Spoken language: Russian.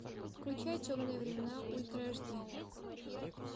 включай темные времена ультра аш ди